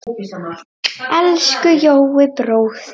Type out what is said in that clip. Elsku Jói bróðir.